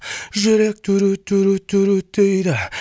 жүрек дурут дурут дурут дейді